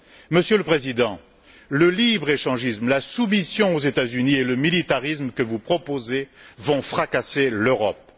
Monsieur le Président, le libre échangisme, la soumission aux États Unis et le militarisme que vous proposez vont fracasser l'Europe.